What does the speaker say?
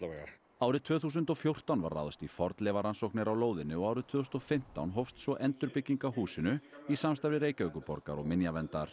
árið tvö þúsund og fjórtán var ráðist í fornleifarannsóknir á lóðinni og árið tvö þúsund og fimmtán hófst svo endurbygging á húsinu í samstarfi Reykjavíkurborgar og minjaverndar